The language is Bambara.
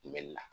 Kunbɛli la